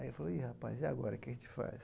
Aí eu falei, ih rapaz, e agora o que a gente faz?